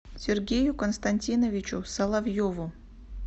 сергею константиновичу соловьеву